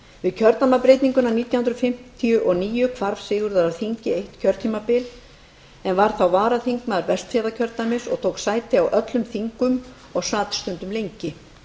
við kjördæmabreytinguna nítján hundruð fimmtíu og níu hvarf sigurður af þingi eitt kjörtímabil en varð þá varaþingmaður vestfjarðakjördæmis og tók sæti á öllum þingum og sat stundum lengi